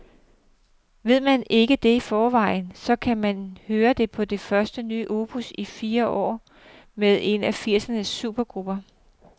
Ved man ikke det i forvejen, så kan man høre det på det første nye opus i fire år med en af firsernes supergrupper.